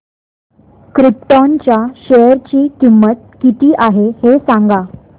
krypton च्या share ची किंमत किती आहे हे सांगा